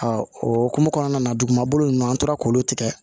o hukumu kɔnɔna na duguma bolo ninnu an tora k'olu tigɛ